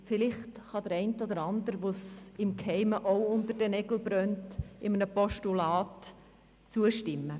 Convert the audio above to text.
Vielleicht kann der eine oder andere, dem diese Frage im Geheimen auch unter den Nägeln brennt, einem Postulat zustimmen.